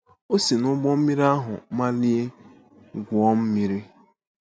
O si n’ụgbọ mmiri ahụ malie gwuo mmiri.